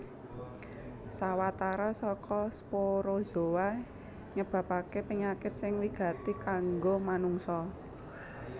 Sawatara saka sporozoa nyebabaké penyakit sing wigati kanggo manungsa